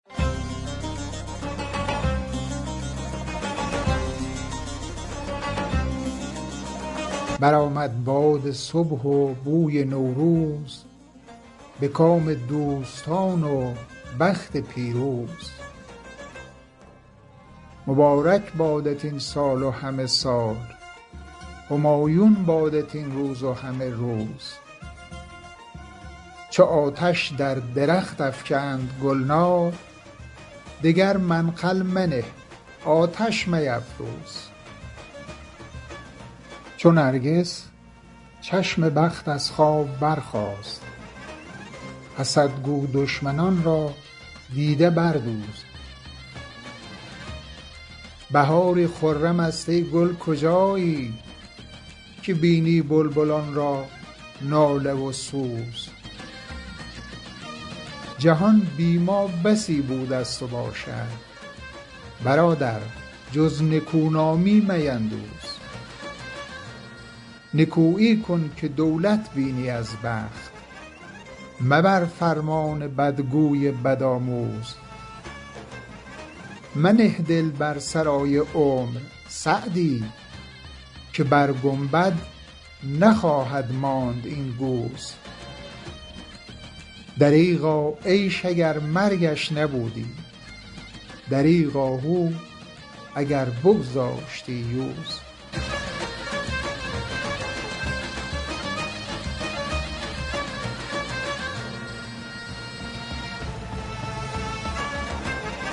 برآمد باد صبح و بوی نوروز به کام دوستان و بخت پیروز مبارک بادت این سال و همه سال همایون بادت این روز و همه روز چو آتش در درخت افکند گلنار دگر منقل منه آتش میفروز چو نرگس چشم بخت از خواب برخاست حسد گو دشمنان را دیده بردوز بهاری خرم است ای گل کجایی که بینی بلبلان را ناله و سوز جهان بی ما بسی بوده ست و باشد برادر جز نکونامی میندوز نکویی کن که دولت بینی از بخت مبر فرمان بدگوی بدآموز منه دل بر سرای عمر سعدی که بر گنبد نخواهد ماند این گوز دریغا عیش اگر مرگش نبودی دریغ آهو اگر بگذاشتی یوز